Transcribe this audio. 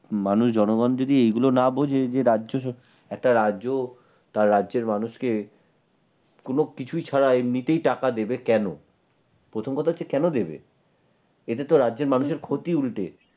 মানুষ জনগণ যদি এইগুলো না বুঝে যে রাজ্যে একটা রাজ্য বা রাজ্যের মানুষকে কোন কিছুই ছাড়া এমনিতেই টাকা দেবে কেন প্রথম কথা হচ্ছে কেন দেবে? এতে তো রাজ্যের মানুষের ক্ষতি উল্টে ।